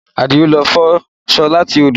Adio lọ fọṣọ létí odò